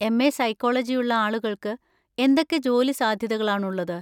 MA. സൈക്കോളജിയുള്ള ആളുകൾക്ക് എന്തൊക്കെ ജോലി സാധ്യതകളാണുള്ളത്?